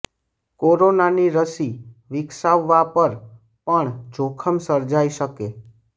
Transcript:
કોરોનાની રસી વિકસાવવા પર પણ જોખમ સર્જાઇ શકે